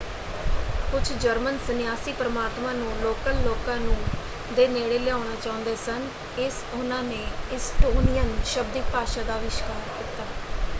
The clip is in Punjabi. ਕੁਝ ਜਰਮਨ ਸੰਨਿਆਸੀ ਪ੍ਰਮਾਤਮਾ ਨੂੰ ਲੋਕਲ ਲੋਕਾਂ ਨੂੰ ਦੇ ਨੇੜੇ ਲਿਆਉਣਾ ਚਾਹੁੰਦੇ ਸਨ ਇਸ ਉਹਨਾਂ ਨੇ ਇਸਟੋਨਿਅਨ ਸ਼ਬਦਿਕ ਭਾਸ਼ਾ ਦਾ ਅਵਿਸ਼ਕਾਰ ਕੀਤਾ।